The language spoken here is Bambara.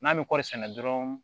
N'an bɛ kɔɔri sɛnɛ dɔrɔn